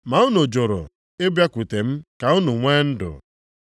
Ma unu jụrụ ịbịakwute m ka unu nwee ndụ.